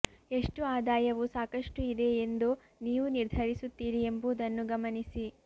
ಎಷ್ಟು ಆದಾಯವು ಸಾಕಷ್ಟು ಇದೆ ಎಂದು ನೀವು ನಿರ್ಧರಿಸುತ್ತೀರಿ ಎಂಬುದನ್ನು ಗಮನಿಸಿ